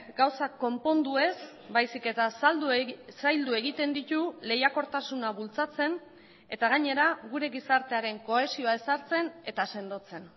gauzak konpondu ez baizik eta zaildu egiten ditu lehiakortasuna bultzatzen eta gainera gure gizartearen kohesioa ezartzen eta sendotzen